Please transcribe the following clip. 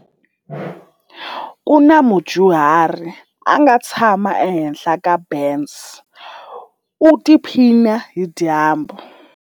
Ku na mudyuhari a nga tshama ehenhla ka bence u tiphina hi dyambu.